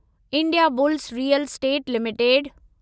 Indiabulls real estate limited